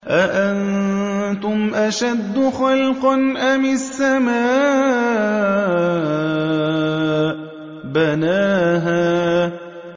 أَأَنتُمْ أَشَدُّ خَلْقًا أَمِ السَّمَاءُ ۚ بَنَاهَا